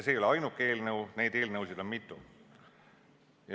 See ei ole ainuke eelnõu, neid eelnõusid on mitu.